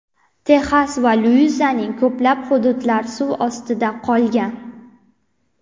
Texas va Luiziananing ko‘plab hududlari suv ostida qolgan.